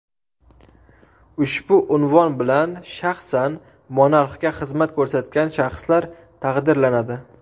Ushbu unvon bilan shaxsan monarxga xizmat ko‘rsatgan shaxslar taqdirlanadi.